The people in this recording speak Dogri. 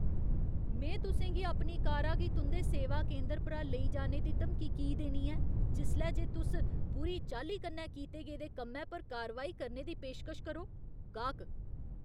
में तुसें गी अपनी कारा गी तुं'दे सेवा केंदर परा लेई जाने दी धमकी की देनी ऐ जिसलै जे तुस बुरी चाल्ली कन्नै कीते गेदे कम्मै पर कारवाई करने दी पेशकश करो? गाह्क